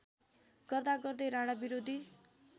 गर्दागर्दै राणाविरोधी